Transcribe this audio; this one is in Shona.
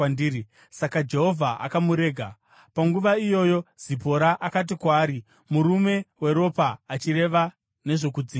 Saka Jehovha akamurega. Panguva iyoyo Zipora akati kwaari, “Murume weropa,” achireva nezvokudzingiswa.